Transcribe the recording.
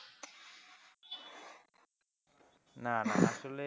না না আসলে,